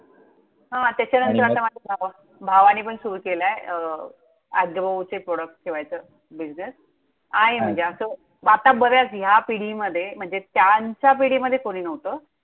हां आणि मग त्याच्यानंतर माझ्या भावा, भावाने पण सुरु केलाय. अं ऍग्रोचे products ठेवायचं business अच्छा! आहे म्हणजे असं आता बऱ्याच ह्या पिढीमध्ये म्हणजे त्यांच्या पिढीमध्ये कुणी नव्हतं.